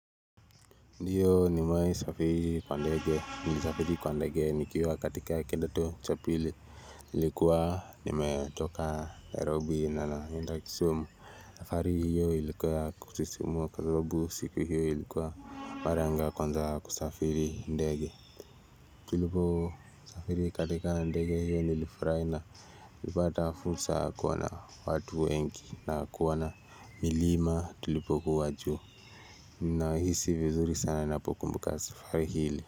Ndiyo nimewahi safiri kwa ndege nilisafiri kwa ndege nikiwa katika kidato cha pili nilikuwa nimetoka Nairobi na naenda kisumu safari hiyo ilikuwa ya kusisimua kwa sababu siku hiyo ilikuwa mara yangu ya kwanza kusafiri ndege tuliposafiri katika ndege hiyo nilifurahi na kupata fursa kuwa na watu wengi na kuona milima tulipokuwa juu nahisi vizuri sana napokumbuka safari hili.